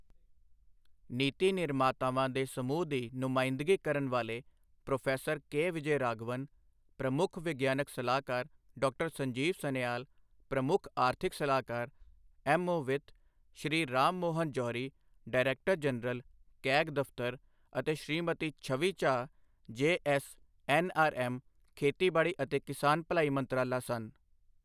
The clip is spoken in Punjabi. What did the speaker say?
ਨੀਤੀ ਨਿਰਮਾਤਾਵਾਂ ਦੇ ਸਮੂਹ ਦੀ ਨੁਮਾਇੰਦਗੀ ਕਰਨ ਵਾਲੇ ਪ੍ਰੋ ਕੇ ਵਿਜੈ ਰਾਘਵਨ, ਪ੍ਰਮੁੱਖ ਵਿਗਿਆਨਕ ਸਲਾਹਕਾਰ, ਡਾ. ਸੰਜੀਵ ਸਨਿਆਲ, ਪ੍ਰਮੁੱਖ ਆਰਥਿਕ ਸਲਾਹਕਾਰ, ਐੱਮ ਓ ਵਿੱਤ, Shri Ram Mohan Johri, director general, CAG ਦਫਤਰ ਅਤੇ ਸ੍ਰੀਮਤੀ ਛਵੀ ਝਾਅ, ਜੇਐਸ ਐਨਆਰਐਮ, ਖੇਤੀਬਾੜੀ ਅਤੇ ਕਿਸਾਨ ਭਲਾਈ ਮੰਤਰਾਲਾ ਸਨ।